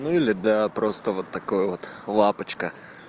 ну или да просто вот такой вот лапочка